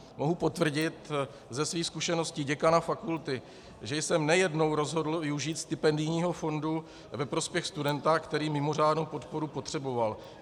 Mohu potvrdit ze svých zkušeností děkana fakulty, že jsem nejednou rozhodl využít stipendijního fondu ve prospěch studenta, který mimořádnou podporu potřeboval.